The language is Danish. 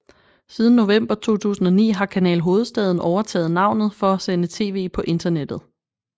Siden november 2009 har Kanal Hovedstaden overtaget navnet for at sende tv på internettet